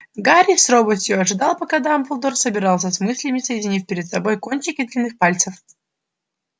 гарри с робостью ожидал пока дамблдор собирался с мыслями соединив перед собой кончики длинных пальцев